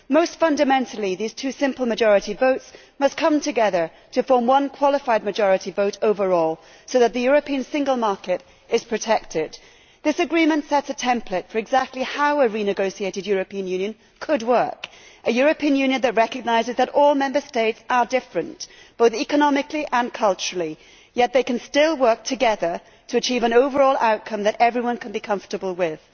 Most fundamentally, these two simple majority votes must come together to form one qualified majority vote overall, so that the European single market is protected. This agreement sets a template for exactly how a renegotiated European Union could work a European Union that recognises that all Member States are different, both economically and culturally, yet can still work together to achieve an overall outcome that everyone can be comfortable with.